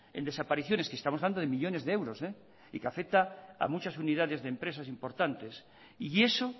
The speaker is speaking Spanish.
en desapariciones que estamos hablando de millónes de euros y que afecta a muchas unidades de empresas importantes y eso